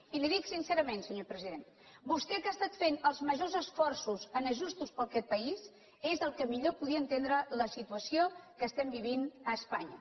i li ho dic sincerament senyor president vostè que ha estat fent els majors esforços en ajustos per aquest país és el qui millor podria entendre la situació que estem vivint a espanya